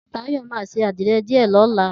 Tayo ma se àdíre dìé lõla